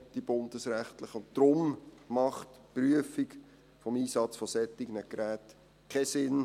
Deshalb macht die Prüfung des Einsatzes von solchen Geräten keinen Sinn.